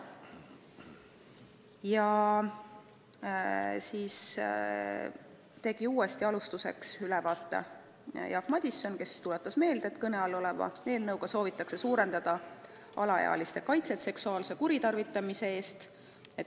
Alustuseks tegi uuesti ülevaate Jaak Madison, kes tuletas meelde, et eelnõuga soovitakse parandada alaealiste kaitset seksuaalse kuritarvitamise eest.